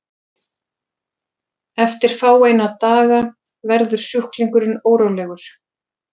eftir fáeina daga verður sjúklingurinn órólegur